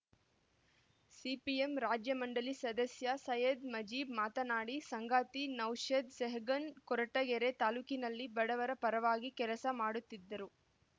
CPM ರಾಜ್ಯ ಮಂಡಳಿ ಸದಸ್ಯ ಸೈಯದ್ ಮುಜೀಬ್ ಮಾತನಾಡಿ ಸಂಗಾತಿ ನೌಷಾದ್ ಸೆಹಗನ್ ಕೊರಟಗೆರೆ ತಾಲ್ಲೂಕಿನಲ್ಲಿ ಬಡವರ ಪರವಾಗಿ ಕೆಲಸ ಮಾಡುತ್ತಿದ್ದರು